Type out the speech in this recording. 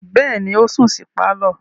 Bẹ́ẹ̀ni, ó sùn sí pálọ̀.